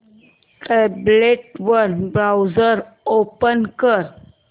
tablet वर browser open कर